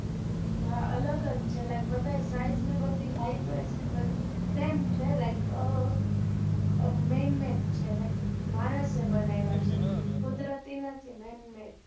અલગ જ છે, like બધાય size અને ઈ બધુ heightvise બધુ same છે like અમ man made છે, like માણસે બનાવ્યા છે, કુદરતી નથી, man made છે